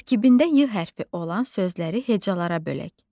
Tərkibində Y hərfi olan sözləri hecalara bölək.